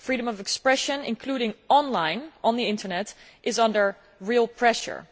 Freedom of expression, including online on the Internet, is under real pressure.